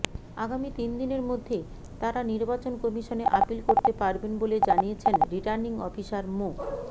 আগামী তিনদিনের মধ্যে তারা নির্বাচন কমিশনে আপিল করতে পারবেন বলে জানিয়েছেন রিটার্নিং অফিসার মো